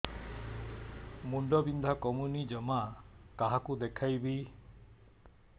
ମୁଣ୍ଡ ବିନ୍ଧା କମୁନି ଜମା କାହାକୁ ଦେଖେଇବି